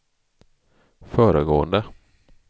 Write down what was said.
föregående